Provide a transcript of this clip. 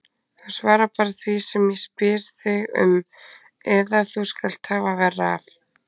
Þú svarar bara því sem ég spyr þig um eða þú skalt hafa verra af.